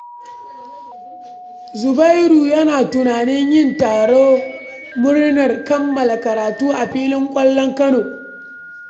Zubairu yana tunanin yin taron murnar kammala karatu a filin kwallon kano.